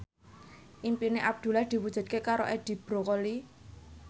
impine Abdullah diwujudke karo Edi Brokoli